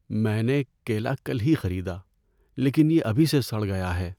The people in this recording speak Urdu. میں نے کیلا کل ہی خریدا لیکن یہ ابھی سے سڑ گیا ہے۔